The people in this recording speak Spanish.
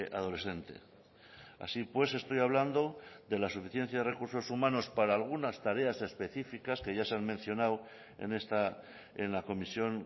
adolescente así pues estoy hablando de la suficiencia de recursos humanos para algunas tareas específicas que ya se han mencionado en la comisión